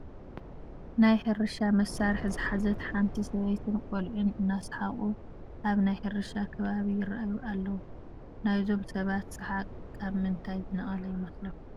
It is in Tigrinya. ናይ ሕርሻ መሳርሒ ዝሓዘት ሓንቲ ሰበይትን ቆልዑን እናሰሓቑ ኣብ ናይ ሕርሻ ከባቢ ይርአዩ ኣለዉ፡፡ ናይዞም ሰባት ሰሓቕ ካብ ምንታይ ዝነቐለ ይመስለኩም፡፡